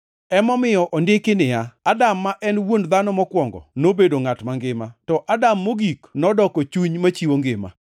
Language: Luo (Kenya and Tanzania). Emomiyo ondiki niya, “Adam ma en dhano mokwongo, nobedo ngʼat mangima” + 15:45 \+xt Chak 2:7\+xt* to Adam mogik nodoko chuny machiwo ngima.